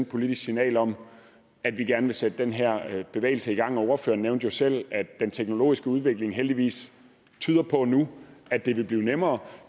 politisk signal om at vi gerne vil sætte den her bevægelse i gang ordføreren nævnte jo selv at det den teknologiske udvikling heldigvis tyder på nu at det vil blive nemmere